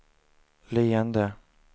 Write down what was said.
leende